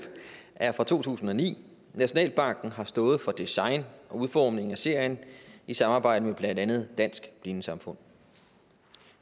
er fra to tusind og ni nationalbanken har stået for design og udformning af serien i samarbejde med blandt andet dansk blindesamfund